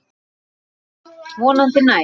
Vonandi næst.